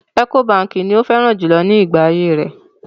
Ẹ́kó baǹkì ni ó fẹ́ràn jùlọ nígbà ayé rẹ̀.